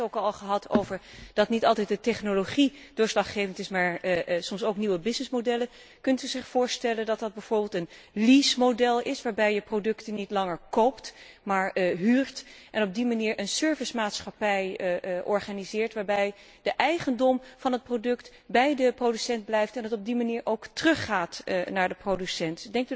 Ik heb het er net ook al over gehad dat niet altijd de technologie doorslaggevend is, maar soms ook nieuwe businessmodellen. Kunt u zich voorstellen dat dat bijvoorbeeld een leasemodel is, waarbij je producten niet langer koopt, maar huurt, en op die manier een servicemaatschappij organiseert, waarbij de eigendom van het product bij de producent blijft en het op die manier ook teruggaat naar de producent?